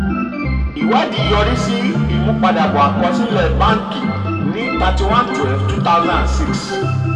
ìwádìí yọrí sí ìmúpadàbọ̀ um àkọsílẹ̀ báǹkì ní thirty one twelve two thousand and six.